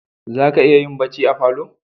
Za ka iya yin barci falo